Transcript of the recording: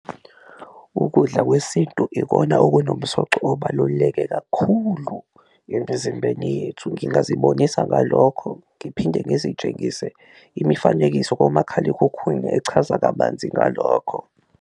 Ukudla kwesintu ikona okunomsoco obaluleke kakhulu emizimbeni yethu ngingazi zibonisa ngalokho, ngiphinde ngizitshengise imifanekiso komakhalekhukhwini echaza kabanzi ngalokho.